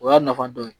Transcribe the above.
O y'a nafa dɔ ye